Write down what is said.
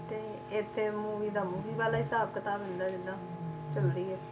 ਠੀਕ ਹੈ ਉਹਨਾਂ ਦੀ ਉਹੀਤੇ ਇੱਥੇ movie ਦਾ movie ਵਾਲਾ ਹਿਸਾਬ ਕਿਤਾਬ ਹੋ ਜਾਂਦਾ ਜਿਦਾਂ ਚਲਦੀ ਏ